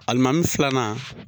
Alimami filanan.